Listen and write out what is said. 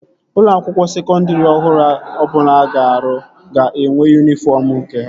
Ụlọ akwụkwọ sekondri ọhụrụ ọbụla a ga-arụ ga-enwe yunifọm nke ha